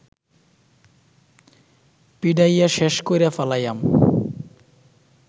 পিডাইয়া শ্যাষ কইরা ফালাইয়াম